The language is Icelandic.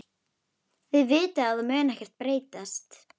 Þið vitið að það mun ekkert breytast.